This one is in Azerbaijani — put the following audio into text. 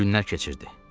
Günlər keçirdi.